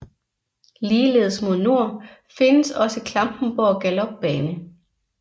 Ligeledes mod nord findes også Klampenborg Galopbane